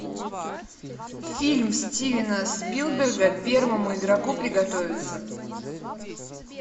фильм стивена спилберга первому игроку приготовиться